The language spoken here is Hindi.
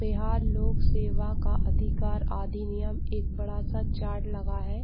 बिहार लोक सेवा का अदिकार अधिनियम एक बड़ा-सा चार्ट लगा है।